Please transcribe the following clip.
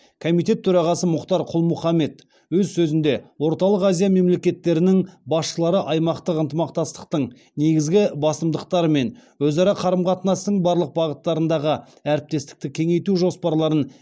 комитет төрағасы мұхтар құл мұхаммед өз сөзінде орталық азия мемлекеттерінің басшылары аймақтық ынтымақтастықтың негізгі басымдықтары мен өзара қарым қатынастың барлық бағыттарындағы әріптестікті кеңейту жоспарларын